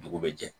Dugu bɛ jɛ